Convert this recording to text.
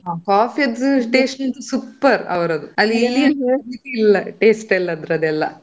ಹಾ coffee ದು taste super ಅವ್ರದ್ದು ಅದು ಇಲ್ಲಿ taste ಅದ್ರದು ಎಲ್ಲಾ.